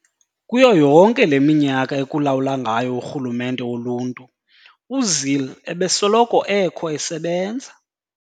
Kuyo yonke le minyaka ekulawula ngayo urhulumente woluntu, uZille ebesoloko ekho esebenza.